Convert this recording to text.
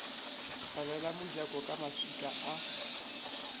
tswalela mojako ka maswika a